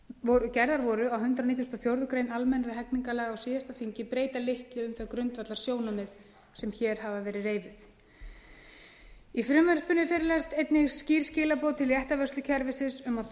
sem gerðar voru á hundrað nítugasta og fjórðu grein almennra hegningarlaga á síðasta þingi breyta litlu um þau grundvallarsjónarmið sem hér hafa verið reifuð í frumvarpinu felast einnig skýr skilaboð til réttarvörslukerfisins um að